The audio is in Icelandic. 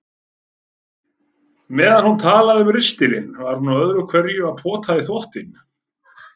Meðan hún talaði um ristilinn var hún öðru hverju að pota í þvottinn.